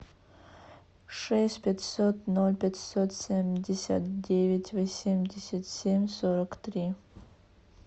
шесть пятьсот ноль пятьсот семьдесят девять восемьдесят семь сорок три